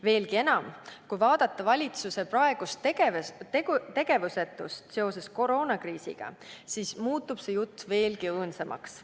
Veelgi enam, kui vaadata valitsuse praegust tegevust või tegevusetust seoses koroonakriisiga, siis muutub see jutt veelgi õõnsamaks.